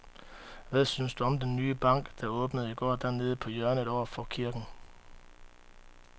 Hvad synes du om den nye bank, der åbnede i går dernede på hjørnet over for kirken?